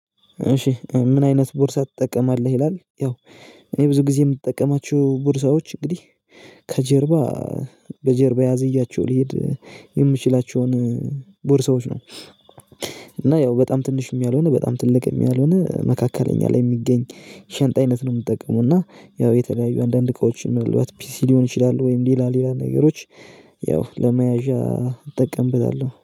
እሺ ምን አይነት ቦርሳ ትጠቀማለህ ይላል ያው እኔ ብዙ ጊዜ የምጠቀማችሁ ቦርሳዎች እንግዲህ ከጀርባ በጀርባ አዝያቸው ሊሄድ የምችላቸውን ቦርሳዎች ነው። እና ያው በጣም ትንሽ ያልሆነ በጣም ትልቅ ያልሆነ መካከለኛ ላይ የሚገኝ ሸንጣ አይነት ነው የምጠቀመው። እና ያው የተለያዩ አንዳንድ እቃዎችን ምናልባት ፒሲ ሊሆን ይችላሉ ወይም ሌላ ሌላ ነገሮች ያው ለመያዣ እጠቀምብናለሁ